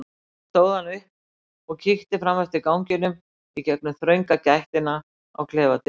Svo stóð hann upp og kíkti fram eftir ganginum í gegnum þrönga gættina á klefadyrunum.